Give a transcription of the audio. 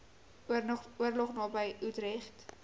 oorlog naby utrecht